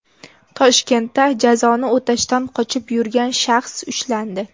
Toshkentda jazoni o‘tashdan qochib yurgan shaxs ushlandi.